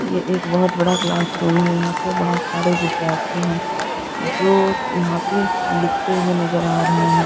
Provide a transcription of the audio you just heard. ये एके बहुत बड़ा क्लासरूम है यहाँ पे बहुत सारे विद्यार्थी है जो यहाँ पे लिखते हुए नजर आ रहे है।